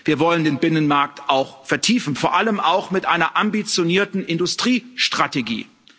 Wir wollen den Binnenmarkt auch vertiefen, vor allem auch mit einer ambitionierten Industriestrategie.